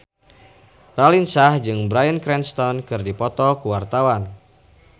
Raline Shah jeung Bryan Cranston keur dipoto ku wartawan